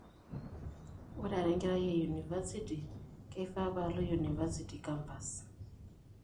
Ore ara enkerai e university, keifaa paalo university campus.